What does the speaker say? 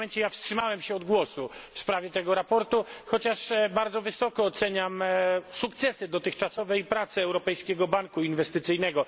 Wstrzymałem się od głosu w sprawie tego sprawozdania, chociaż bardzo wysoko oceniam sukcesy dotychczasowej pracy Europejskiego Banku Inwestycyjnego.